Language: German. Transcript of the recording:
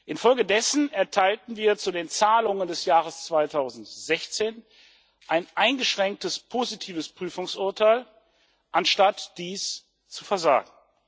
Infolgedessen erteilten wir zu den Zahlungen des Jahres 2016 ein eingeschränkt positives Prüfungsurteil, anstatt dies zu versagen.